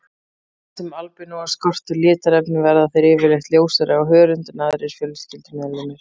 Þar sem albínóa skortir litarefni verða þeir yfirleitt ljósari á hörund en aðrir fjölskyldumeðlimir.